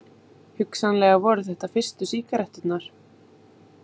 Hugsanlega voru þetta fyrstu sígaretturnar.